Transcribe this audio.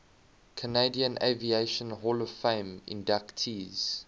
canadian aviation hall of fame inductees